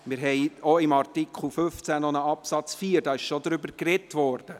Wir haben auch beim Artikel 15 noch einen Absatz 4; darüber wurde bereits gesprochen.